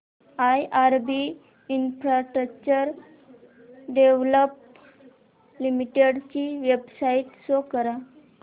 IRB infrastructure developers limited ची website show करा